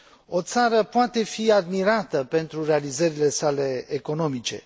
O țară poate fi admirată pentru realizările sale economice.